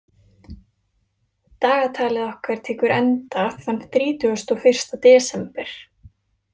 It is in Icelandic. Dagatalið okkar tekur enda þann þrítugasta og fyrsta desember.